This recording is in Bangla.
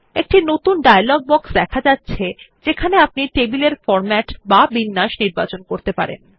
একটি নতুন ডায়লগ বক্স দেখা যাচ্ছে যেখানে আপনি টেবিল এর ফরম্যাট বা বিন্যাস নির্বাচন করতে পারবেন